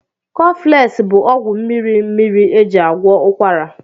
Cọflesị bụ ọgwụ mmiri mmiri eji agwọ ụkwara